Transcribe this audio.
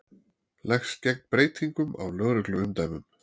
Leggst gegn breytingum á lögregluumdæmum